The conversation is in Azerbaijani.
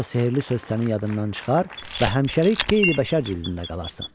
yoxsa sehrli söz sənin yadından çıxar və həmişəlik qeyri-bəşər cildində qalarsan.